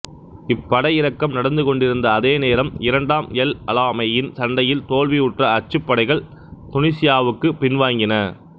இப்படையிறக்கம் நடந்து கொண்டிருந்த அதே நேரம் இரண்டாம் எல் அலாமெய்ன் சண்டையில் தோல்வியுற்ற அச்சுப்படைகள் துனிசியாவுக்குப் பின்வாங்கின